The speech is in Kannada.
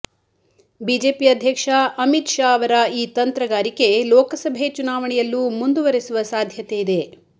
ಬಿಜೆಪಿ ಅಧ್ಯಕ್ಷ ಅಮಿತ್ ಶಾ ಅವರ ಈ ತಂತ್ರಗಾರಿಕೆ ಲೋಕಸಭೆ ಚುನಾವಣೆಯಲ್ಲೂ ಮುಂದುವರೆಸುವ ಸಾಧ್ಯತೆಯಿದೆ